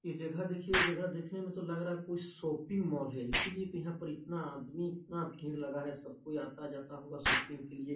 ये जगह देखिये जगह देखने में तो लग रहा है कोई शॉपिंग मॉल है इसलिए तो यहाँ पर इतना आदमी इतना भीड़ लगा है सब कोई आता-जाता होगा शॉपिंग के लिए--